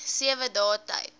sewe dae tyd